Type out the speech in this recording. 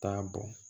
Taa bɔn